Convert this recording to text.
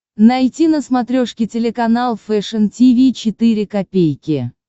найти на смотрешке телеканал фэшн ти ви четыре ка